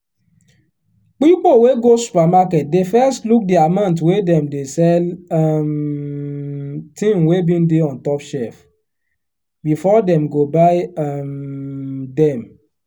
pipo wey go supermarket dey first look di amount wey dem dey sell um thing wey bin dey on top shelf before dem go buy um dem.